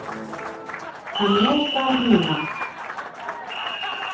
Hann er þar núna.